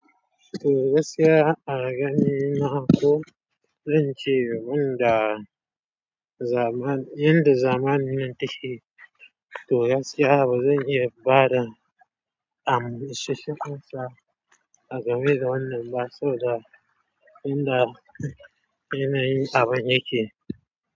Toh gaskiya a gani na ko zance wanda zaman, yanda zamanin take. Toh gaskiya bazan iya bada isasshen amsa a game da wannan ba saboda inda yanayin abun yake.